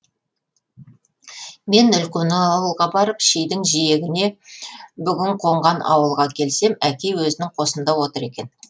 мен үлкен ауылға барып шидің жиегіне бүгін қонған ауылға келсем әкей өзінің қосында отыр екен